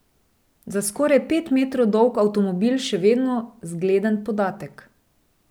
Za skoraj pet metrov dolg avtomobil še vedno zgleden podatek.